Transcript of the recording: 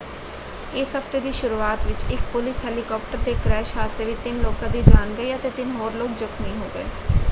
ਇਸ ਹਫ਼ਤੇ ਦੀ ਸ਼ੁਰੂਆਤ ਵਿੱਚ ਇੱਕ ਪੁਲਿਸ ਹੈਲੀਕਾਪਟਰ ਦੇ ਕ੍ਰੈਸ਼ ਹਾਦਸੇ ਵਿੱਚ ਤਿੰਨ ਲੋਕਾਂ ਦੀ ਜਾਨ ਗਈ ਅਤੇ ਤਿੰਨ ਹੋਰ ਲੋਕ ਜਖਮੀ ਹੋ ਗਏ।